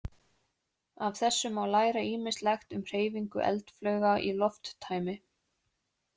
Af þessu má læra ýmislegt um hreyfingu eldflauga í lofttæmi.